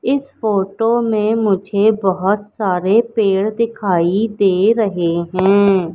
इस फोटो में मुझे बहोत सारे पेड़ दिखाई दे रहे हैं।